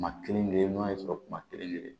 Kuma kelen kelen n'a y'a sɔrɔ maa kelen kelen